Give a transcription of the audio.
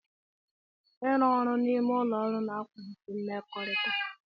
Ịrụ ọrụ n'ime ụlọ ọrụ na-akwalite mmekọrịta.